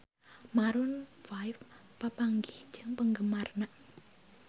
Maroon 5 papanggih jeung penggemarna